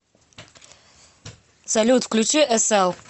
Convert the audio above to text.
салют включи эсэл